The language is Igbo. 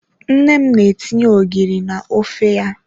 Nne m na-etinye ogiri na ofe ya. Nne m na-etinye ogiri na ofe ora ya.